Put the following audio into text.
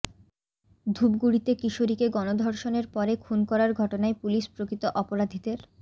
ধূপগুড়িতে কিশোরীকে গণধর্ষণের পরে খুন করার ঘটনায় পুলিশ প্রকৃত অপরাধীদের